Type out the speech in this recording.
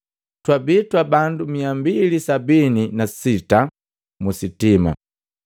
Twabii twa bandu miya mbili sabini na sita musitima.